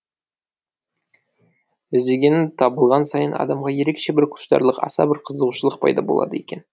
іздегенің табылған сайын адамда ерекше бір құштарлық аса бір қызығушылық пайда болады екен